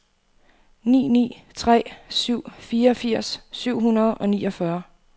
ni ni tre syv fireogfirs syv hundrede og niogfyrre